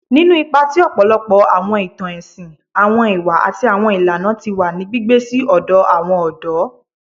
Ninu ipa ti ọpọlọpọ awọn itan ẹsin, awọn iwa ati awọn ilana ti wa ni gbigbe si ọdọ awọn ọdọ